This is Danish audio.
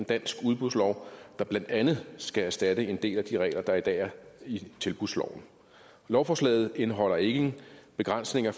dansk udbudslov der blandt andet skal erstatte en del af de regler der i dag er i tilbudsloven lovforslaget indeholder ingen begrænsninger